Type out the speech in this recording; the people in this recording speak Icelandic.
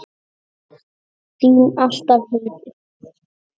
Þín alltaf, Heiður.